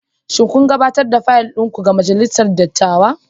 Shin kun gabatar da fayil ɗin ku ga Majalisar Dattawa?